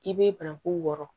I bɛ banaku wɔɔrɔ